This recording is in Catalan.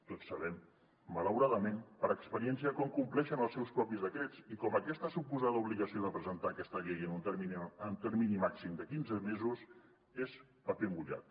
tots sabem malauradament per experiència com compleixen els seus propis decrets i que aquesta suposada obligació de presentar aquesta llei en un termini màxim de quinze mesos és paper mullat